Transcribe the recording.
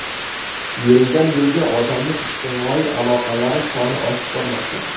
Yildan yilga odamning ijtimoiy aloqalari soni oshib bormoqda.